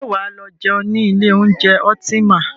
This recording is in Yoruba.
Ṣé wà á lọ jẹun ní ilé oúnjẹ Ultima?